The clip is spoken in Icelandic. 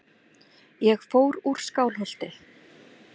Ég fór úr Skálholti.